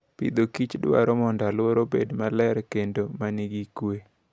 Agriculture and Food dwaro mondo aluora obed maler kendo man gi kuwe.